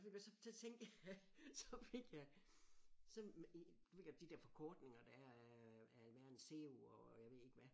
Og ved du hvad så så tænkte jeg så fik jeg så du ved godt de der forkortninger der er af af hvad er en CEO og jeg ved ikke hvad?